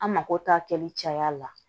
An mako t'a kɛli caya la